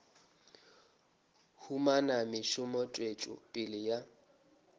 humana mešomo tswetšo pele ya